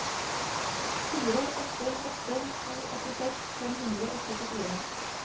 fire åtte åtte to åttiseks fem hundre og syttifire